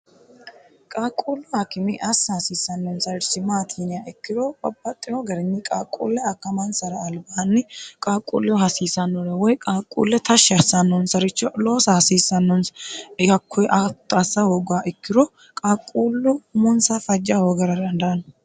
qaaqquullu haakime assa haasiissannonsairchi maati yiniha ikkiro babbaxxino garinni qaaqquulle akkamansara albaanni qaaqquulleho hasiissannore woy qaaqquulle tashshi harsaannonsaricho loosa hasiissannonsa hatto assa hoogguha ikkiro qaaqquullu umunsa fajja hoogara dandaanno